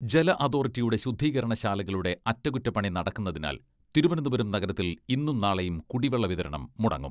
ജല അതോറിറ്റിയുടെ ശുദ്ധീകരണ ശാലകളുടെ അറ്റകുറ്റപ്പണി നടക്കുന്നതിനാൽ തിരുവനന്തപുരം നഗരത്തിൽ ഇന്നും നാളെയും കുടിവെള്ള വിതരണം മുടങ്ങും.